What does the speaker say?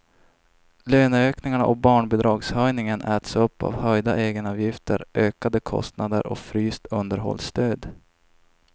Löneökningarna och barnbidragshöjningen äts upp av höjda egenavgifter, ökade kostnader och fryst underhållsstöd.